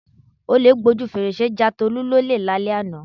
Olè gbojú fèrèsé ja Tolú lólè lálẹ́ àná.